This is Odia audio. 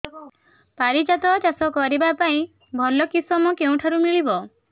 ପାରିଜାତ ଚାଷ କରିବା ପାଇଁ ଭଲ କିଶମ କେଉଁଠାରୁ ମିଳିବ